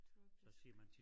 Tropisk